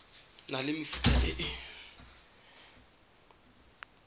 na le mefuta e e